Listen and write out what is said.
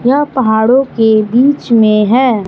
यह पहाड़ों के बीच में हैं।